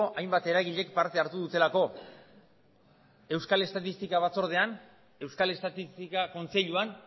hainbat eragilek parte hartu dutelako euskal estatistika batzordean euskal estatistika kontseiluan